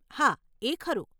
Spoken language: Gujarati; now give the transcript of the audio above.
હા, એ ખરું.